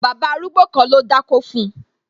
Bàbá arúgbó kan ló dákó fun